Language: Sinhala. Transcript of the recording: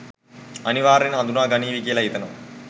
අනිවාර්යෙන් හඳුනා ගනීවි කියලා හිතනවා.